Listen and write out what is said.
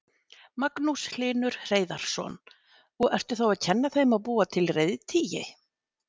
Magnús Hlynur Hreiðarsson: Og ertu þá að kenna þeim að búa til reiðtygi?